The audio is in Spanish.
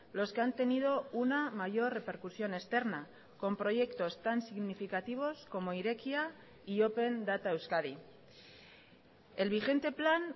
los que han tenido una mayor repercusión externa con proyectos tan significativos como irekia y open data euskadi el vigente plan